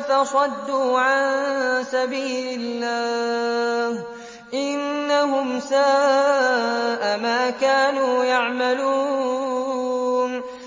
فَصَدُّوا عَن سَبِيلِ اللَّهِ ۚ إِنَّهُمْ سَاءَ مَا كَانُوا يَعْمَلُونَ